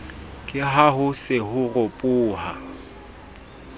ke haho se ho ropoha